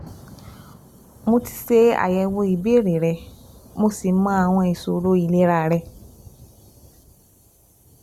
Mo ti ṣe àyẹ̀wò ìbéèrè rẹ, mo sì mọ àwọn ìṣòro ìlera rẹ